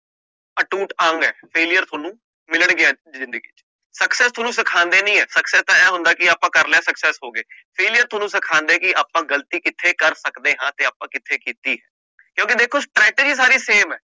ਅਟੂਟ ਅੰਗ ਹੈ failure ਤੁਹਾਨੂੰ ਮਿਲਣਗੇ ਜ਼ਿੰਦਗੀ ਚ ਅਕਸਰ success ਤੁਹਾਨੂੰ ਸਿਖਾਉਂਦੀ ਨੀ ਹੈ success ਤਾਂ ਆਏਂ ਹੁੰਦਾ ਕਿ ਆਪਾਂ ਕਰ ਲਿਆ success ਹੋ ਗਏ failure ਤੁਹਾਨੂੰ ਸਿਖਾਉਂਦਾ ਹੈ ਕਿ ਆਪਾਂ ਗ਼ਲਤੀ ਕਿੱਥੇ ਕਰ ਸਕਦੇ ਹਾਂ ਤੇ ਆਪਾਂ ਕਿੱਥੇ ਕੀਤੀ ਕਿਉਂਕਿ ਦੇਖੋ strategy ਸਾਰੀ same ਹੈ।